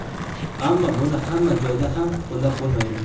Ammo buni hamma joyda ham qo‘llab bo‘lmaydi.